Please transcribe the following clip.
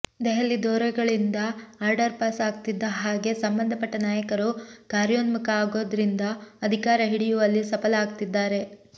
ದೆಹಲಿ ದೊರೆಗಳಿಂದ order pass ಆಗ್ತಿದ್ದ ಹಾಗೆ ಸಂಬಂಧ ಪಟ್ಟ ನಾಯಕರು ಕಾರ್ಯೋನ್ಮುಖ ಆಗೋದ್ರಿಂದ ಅಧಿಕಾರ ಹಿಡಿಯುವಲ್ಲಿ ಸಫಲ ಆಗ್ತಿದ್ದಾರೆ